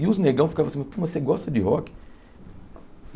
E os negão ficavam assim, mas você gosta de rock?